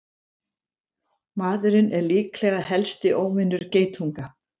Maðurinn er líklega helsti óvinur geitunga!